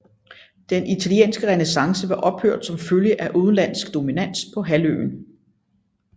Den italienske renæssance var ophørt som følge af udenlandsk dominans på halvøen